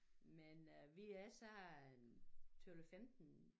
Men øh vi er så en 12 15